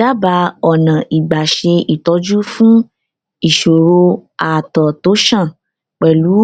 dábàá ọnà ìgbà ṣe ìtọjú fún ìṣòro àtọ tó ṣàn pẹlú